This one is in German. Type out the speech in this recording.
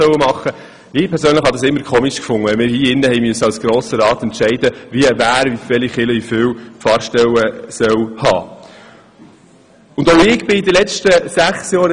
Ich fand es immer merkwürdig, wenn wir hier im Grossen Rat entscheiden mussten, welche Kirche wie viele Pfarrstellen erhalten sollte.